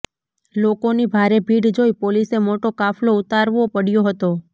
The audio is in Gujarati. લોકોની ભારે ભીડ જોઇ પોલીસે મોટો કાફલો ઉતારવો પડયો હતો